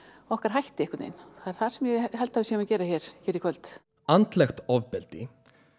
okkar hætti einhvern veginn það er það sem ég held að við séum að gera hér í kvöld andlegt ofbeldi